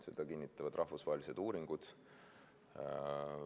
Seda kinnitavad rahvusvahelised uuringud.